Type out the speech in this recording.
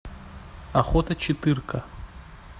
охота четырка